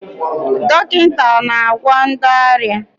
Dọkịta na-agwọ ndị ọrịa.